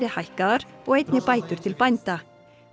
hækkaðar og einnig bætur til bænda